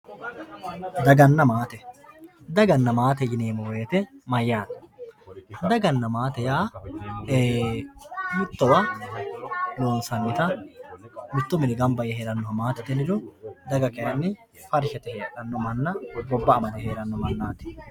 daganna maate. daganna maate yineemmo woyiite mayyaate daganna maate yaa mittowa loonsannita mittu mini ganba yee heerannota maatete yiniro daga kayni farsha yite heedhanno manna